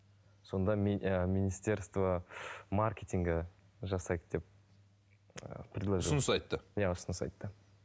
сонда і министерство маркетинга жасайды деп ыыы иә ұсыныс айтты